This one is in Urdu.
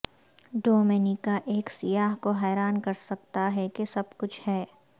ڈومینیکا ایک سیاح کو حیران کر سکتا ہے کہ سب کچھ ہے